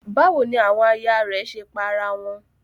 Báwo ni àwọn aya rẹ̀ ṣe pa ara wọn?